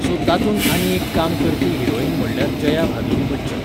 so तातूंत आनी एक काम करपी हिरोइन म्हणल्यार जया भादुरी बच्चन